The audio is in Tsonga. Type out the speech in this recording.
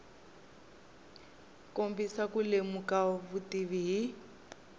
kombisa ku lemuka vutivi hi